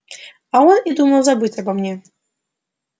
а он и думать забыл обо мне